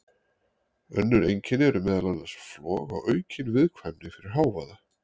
Önnur einkenni eru meðal annars flog og aukin viðkvæmni fyrir hávaða.